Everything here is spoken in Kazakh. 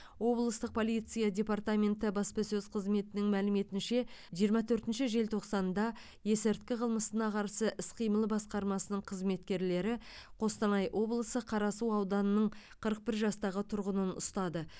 облыстық полиция департаменті баспасөз қызметінің мәліметінше жиырма төртінші желтоқсанда есірткі қылмысына қарсы іс қимыл басқармасының қызметкерлері қостанай облысы қарасу ауданының қырық бір жастағы тұрғынын ұстады